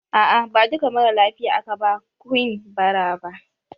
A a ba duka maralafiya aka ba quinn ba ra ba